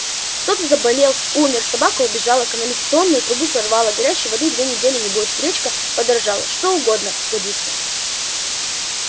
кто-то заболел умер собака убежала канализационную трубу прорвало горячей воды две недели не будет гречка подорожала что угодно годится